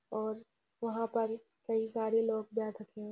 और वहां पर कई सारे लोग बैठ रखे हैं।